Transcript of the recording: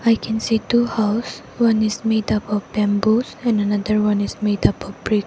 we can see two house one is made up of bamboos and another one is made up of brick.